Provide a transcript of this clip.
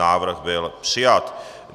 Návrh byl přijat.